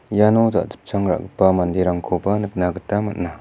iano jachipchang ra·gipa manderangkoba nikna gita man·a.